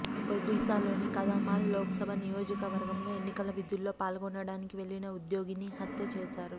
ఒడిశాలోని కందమాల్ లోక్సభ నియోజకవర్గంలో ఎన్నికల విధుల్లో పాల్గొనడానికి వెళ్లిన ఉద్యోగిని హత్య చేశారు